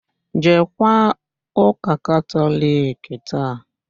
Jeekwa ụ́kà Katọliki taa!